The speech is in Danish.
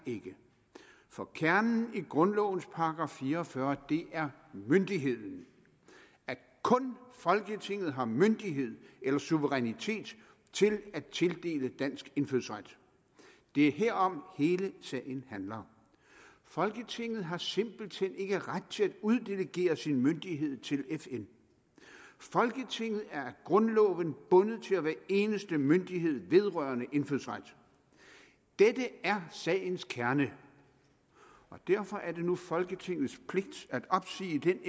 ikke for kernen i grundlovens § fire og fyrre er myndigheden at kun folketinget har myndighed eller suverænitet til at tildele dansk indfødsret det er herom hele sagen handler folketinget har simpelt hen ikke ret til at uddelegere sin myndighed til fn folketinget er af grundloven bundet til at være eneste myndighed vedrørende indfødsret dette er sagens kerne og derfor er det nu folketingets pligt at opsige den